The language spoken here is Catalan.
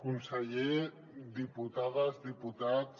conseller diputades diputats